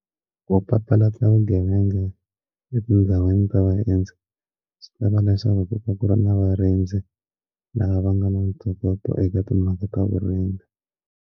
Ku papalata vugevenga etindhawini ta vaendzi swi lava leswaku ku ta ku ri na varindzi laha va nga na ntokoto eka timhaka ta vurimi.